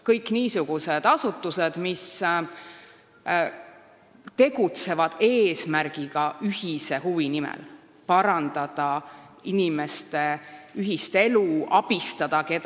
Need on niisugused asutused, mis tegutsevad ühiste huvide nimel eesmärgiga parandada inimeste ühist elu või abistada kedagi.